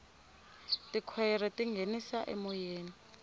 tikhwayere ti nghenisa emoyeni